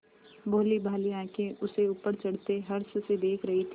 भोलीभाली आँखें उसे ऊपर चढ़ते हर्ष से देख रही थीं